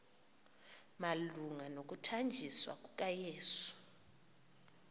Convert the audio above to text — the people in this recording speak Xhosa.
malunga nokuthanjiswa kukayesu